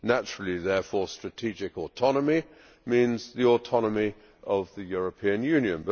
Naturally, therefore, strategic autonomy means the autonomy of the European Union.